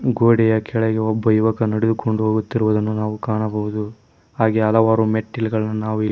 ಗೋಡೆಯ ಕೆಳಗೆ ಒಬ್ಬ ಯುವಕ ನಡೆದುಕೊಂಡು ಹೋಗುತ್ತಿರುವುದನ್ನು ನಾವು ಕಾಣಬಹುದು ಹಾಗೆ ಹಲವಾರು ಮೆಟ್ಟಿಲುಗಳನ್ನು ನಾವು ಇಲ್ಲಿ.